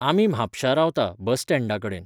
आमी म्हापशा रावता, बस स्टँडा कडेन.